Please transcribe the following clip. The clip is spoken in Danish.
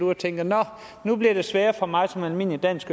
og tænker nå nu bliver det sværere for mig som almindelig dansk